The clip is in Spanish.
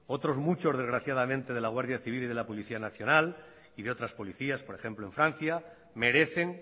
otros muchos desgraciadamente de la guardia civil y de la policía nacional y de otras policías por ejemplo en francia merecen